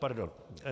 Pardon.